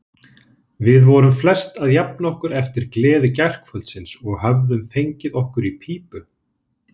Við vorum flest að jafna okkur eftir gleði gærkvöldsins og höfðum fengið okkur í pípu.